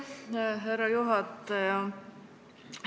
Aitäh, härra juhataja!